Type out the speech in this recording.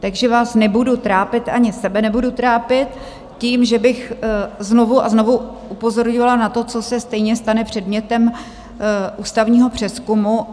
Takže vás nebudu trápit, ani sebe nebudu trápit tím, že bych znovu a znovu upozorňovala na to, co se stejně stane předmětem ústavního přezkumu.